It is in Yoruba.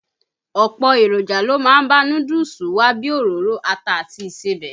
Ọ̀pọ̀ èròjà ló má ń bá núdúùsù wá bíi òróró, ata àti ìsebẹ̀.